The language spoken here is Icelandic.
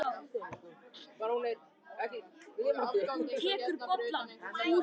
og dásama yndislegt landslagið.